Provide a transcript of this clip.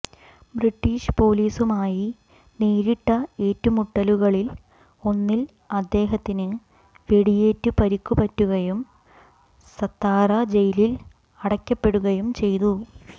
British പോലീസുമായി നേരിട്ട ഏറ്റുമുട്ടലുകളിൽ ഒന്നിൽ അദ്ദേഹത്തിന് വെടിയേറ്റ് പരിക്കുപറ്റുകയും സത്താറ ജയിലിൽ അടയ്ക്കപ്പെടുകയും ചെയ്തു